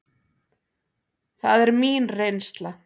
Það er mín reynsla.